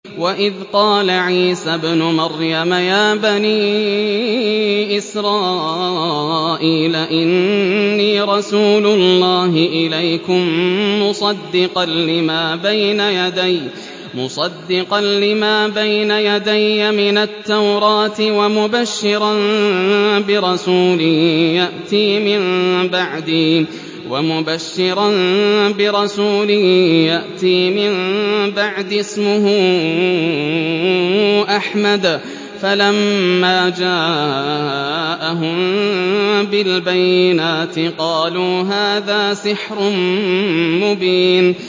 وَإِذْ قَالَ عِيسَى ابْنُ مَرْيَمَ يَا بَنِي إِسْرَائِيلَ إِنِّي رَسُولُ اللَّهِ إِلَيْكُم مُّصَدِّقًا لِّمَا بَيْنَ يَدَيَّ مِنَ التَّوْرَاةِ وَمُبَشِّرًا بِرَسُولٍ يَأْتِي مِن بَعْدِي اسْمُهُ أَحْمَدُ ۖ فَلَمَّا جَاءَهُم بِالْبَيِّنَاتِ قَالُوا هَٰذَا سِحْرٌ مُّبِينٌ